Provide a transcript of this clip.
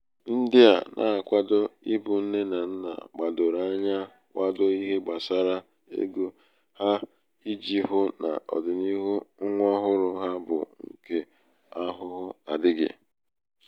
ndị à nā-akwado ịbụ̄ nne nà nnà gbàdòrò anya kwadoo ihe gbàsara egō hā ijì hụ nà ọ̀dị̀niihu nwa ọhụrụ̄ ha bụ ṅ̀kè ahụhụ adị̄ghị̀.